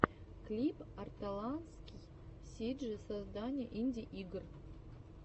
клип арталаский сиджи создание инди игр